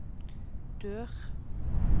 dør